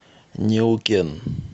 неукен